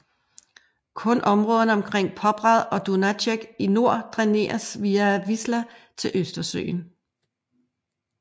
Kun områderne omkring Poprad og Dunajec i nord dræneres via Wisła til Østersøen